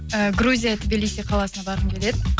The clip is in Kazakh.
э грузия тбилиси қаласына барғым келеді